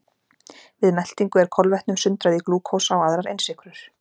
Við meltingu er kolvetnum sundrað í glúkósa og aðrar einsykrur.